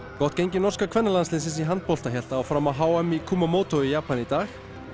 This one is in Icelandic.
gott gengi norska kvennalandsliðsins í handbolta hélt áfram á h m í Kumamoto í Japan í dag